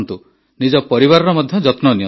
ନିଜ ପରିବାରର ମଧ୍ୟ ଯତ୍ନ ନିଅନ୍ତୁ